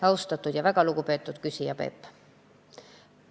Suur aitäh, väga lugupeetud küsija Peep!